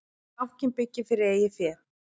Bankinn byggir fyrir eigið fé